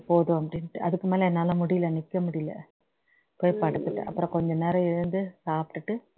போதும் அப்டின்னுட்டு அதுக்கு மேல என்னால முடியல நிக்க முடியல போய் படுத்துட்டேன் அப்புறம் கொஞ்ச நேரம் எழுந்து சாப்பிட்டுட்டு